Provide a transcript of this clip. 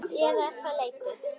Eða er þetta leti?